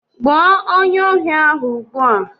Gbuo onyeohi ahụ ugbu a!